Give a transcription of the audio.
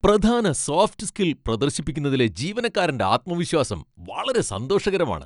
പ്രധാന soft skill പ്രദർശിപ്പിക്കുന്നതിലെ ജീവനക്കാരന്റെ ആത്മവിശ്വാസം വളരെ സന്തോഷകരമാണ്.